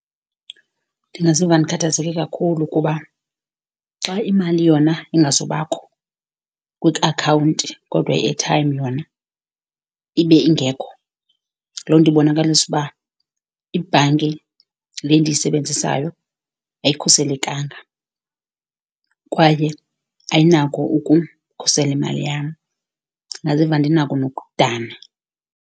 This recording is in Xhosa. Ndingaziva ndikhathazeke kakhulu. Kuba xa imali yona ingazubakho kwiakhawunti kodwa i-airtime yona ibe ingekho loo nto ibonakalisa uba ibhanki le endiyisebenzisayo ayikhuselekanga, kwaye ayinako ukukhusela imali yam. Ndingaziva ndinako nokudana.